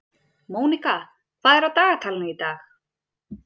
Mónika, hvað er í dagatalinu í dag?